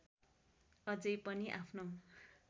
अझै पनि आफ्नो